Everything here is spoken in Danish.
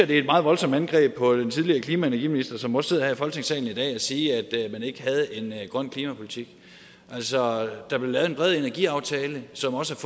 det er et meget voldsomt indgreb på den tidligere klima og energiminister som også sidder her i folketingssalen i dag at sige at man ikke havde en grøn klimapolitik altså der blev lavet en bred energiaftale som også